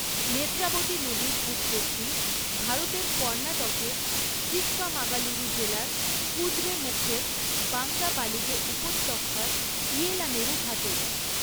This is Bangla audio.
নেত্রাবতী নদীর উৎপত্তি ভারতের কর্ণাটকের চিক্কামাগালুরু জেলার কুদ্রেমুখের বাংরাবালিগে উপত্যকার ইয়েলানেরু ঘাটে।